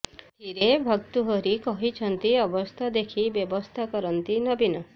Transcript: ଏଥିରେ ଭର୍ତ୍ତୃହରି କହିଛନ୍ତି ଅବସ୍ଥା ଦେଖି ବ୍ୟବସ୍ଥା କରିଛନ୍ତି ନବୀନ